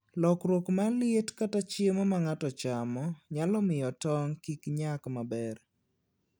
Lokruok mar liet kata chiemo ma ng'ato chamo nyalo miyo tong' kik nyak maber.